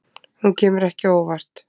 Hún kemur ekki á óvart